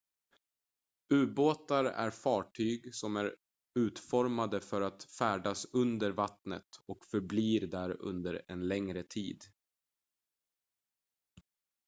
ubåtar är fartyg som är utformade för att färdas under vattnet och förbli där under en längre tid